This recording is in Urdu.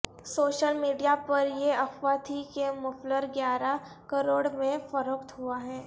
سوشل میڈیا پر یہ افواہ تھی کہ مفلر گیارہ کروڑ میں فروخت ہوا ہے